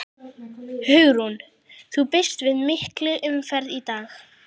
Hugrún: Þú býst við mikilli umferð í dag?